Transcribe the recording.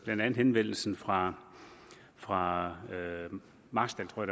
blandt andet henvendelsen fra fra marstal tror